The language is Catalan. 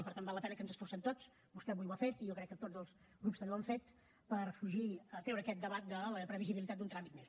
i per tant val la pena que ens esforcem tots vostè avui ho ha fet i jo crec que tots els grups també ho han fet per treure aquest debat de la previsibilitat d’un tràmit més